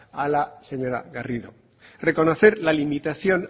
a la señora garrido reconocer la limitación